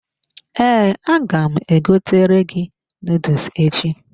Ee, aga m egotere gị noodles echi.